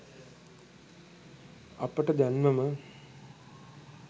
අපට දැන්මම